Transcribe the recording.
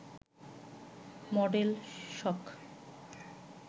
model শখ